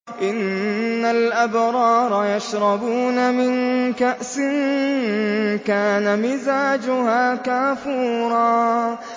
إِنَّ الْأَبْرَارَ يَشْرَبُونَ مِن كَأْسٍ كَانَ مِزَاجُهَا كَافُورًا